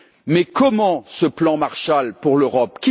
Mais comment, ce plan Marshall pour l'Europe?